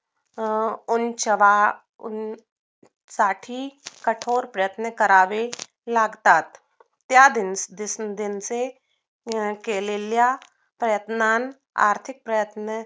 अं उंच उंच साठी कठोर प्रयत्न करावे लागतात त्या decision चे अं केलेल्या प्रयत्नात आर्थिक प्रयत्न